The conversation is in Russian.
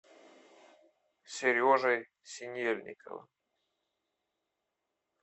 сережей синельниковым